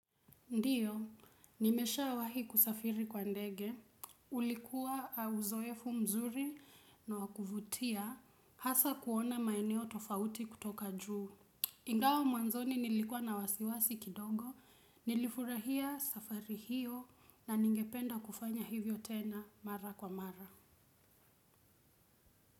Ndio, nimeshawahi kusafiri kwa ndege, ulikuwa uzoefu mzuri na wakuvutia, hasa kuona maeneo tofauti kutoka juu. Ingao mwanzoni nilikwa na wasiwasi kidogo, nilifurahia safari hiyo na ningependa kufanya hivyo tena mara kwa mara.